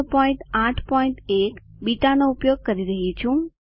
081 બીટાનો ઉપયોગ કરી રહ્યી છું છે